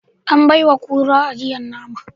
An baiwa kura ajiyar nama